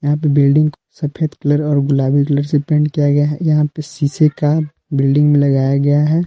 Building सफेद colour और गुलाबी कलर से पेंट किया गया है यहां पे शीशे का बिल्डिंग में लगाया गया है।